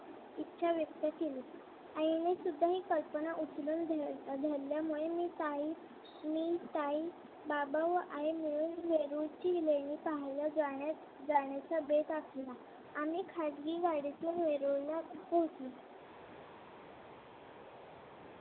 सुद्धा ही कल्पना उचलून धरल्यामुळे मी ताई मी ताई बाबा व आई मिळून वेरूळची लेणी पाहायला जाण्याचा बेत आखला आणि खाजगी गाडीतून वेरूळला